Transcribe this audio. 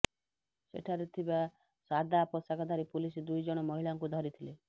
ସେଠାରେ ଥିବା ସାଦା ପୋଷାକଧାରୀ ପୁଲିସ ଦୁଇଜଣ ମହିଳାଙ୍କୁ ଧରିଥିଲେ